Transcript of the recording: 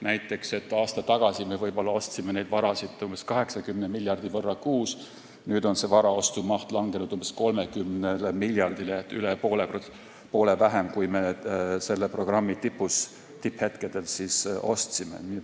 Näiteks, kui aasta tagasi me ostsime varasid umbes 80 miljardi võrra kuus, siis nüüd on varaostumaht langenud umbes 30 miljardile, st üle poole vähem, kui me selle programmi tipphetkedel ostsime.